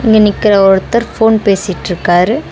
இங்க நிக்கிற ஒருத்தர் ஃபோன் பேசிட்ருக்காரு.